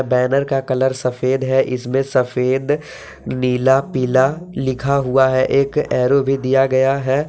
Banner का colour सफेद है इसमें सफेद नीला पीला लिखा हुआ है एक एरो भी दिया गया है।